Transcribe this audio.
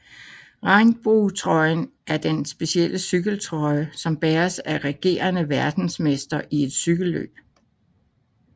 Regnbuetrøjen er den specielle cykeltrøje som bæres af regerende verdensmester i et cykelløb